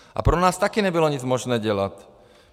A pro nás taky nebylo možné nic dělat.